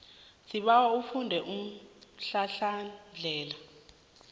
sibawa ufunde umhlahlandlela